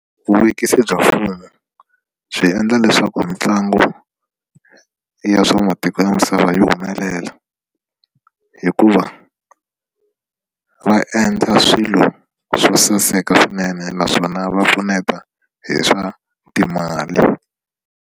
Vuvekisi bya mfumu byi endla leswaku ntlangu ya swa matiko ya misava yi humelela hikuva va endla swilo swo saseka swinene naswona va pfuneta hi swa timali.